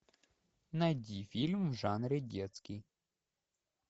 найди фильм в жанре детский